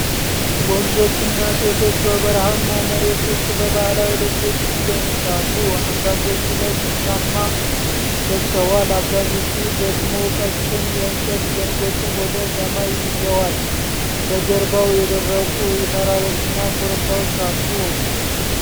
ወንዶችና ሴቶች በበረሃማ መሬት ውስጥ በባህላዊ ልብሶች ይደንሳሉ። አንዳንዶቹ ነጭ ሻማ ለብሰዋል፤ አብዛኞቹ ደግሞ ቀጭን የእንጨት ዘንጎችን ወደ ሰማይ ይዘዋል። በጀርባው የደረቁ ተራሮችና ኮረብታዎች አሉ።